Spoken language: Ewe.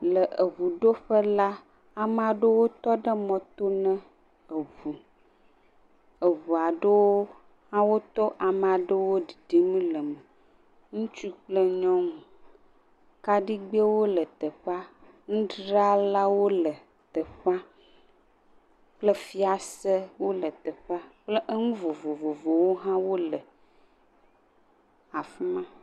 Le eʋu ɖoƒe la amaɖowo tɔ ɖe mɔ to ne eʋu, eʋua ɖowo hã otɔ amaɖowo ɖiɖim le me, ŋutsu kple nyɔŋu, kaɖigbe wo le teƒea, ŋutra lawo le teƒea, kple fiase wole teƒea, ye eŋu vovovowo hã wole teƒea.